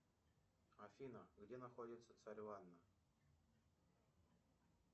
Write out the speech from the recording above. афина где находится царь ванна